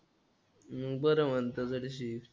मग बरं म्हणतो जराशी.